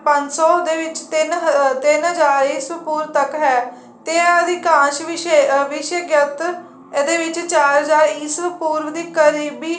ਪੰਜ ਸੋ ਦੇ ਵਿੱਚ ਤਿੰਨ ਹਜ਼ਾਰ ਈਸਵੀਂ ਪੂਰਵ ਤੱਕ ਹੈ ਤੇ ਅਧਿਕਾਸ ਵਿਸ਼ੇਗਤ ਇਹਦੇ ਵਿੱਚ ਚਾਰ ਹਜ਼ਾਰ ਈਸਵ ਪੂਰਵ ਦੇ ਕਰੀਬੀ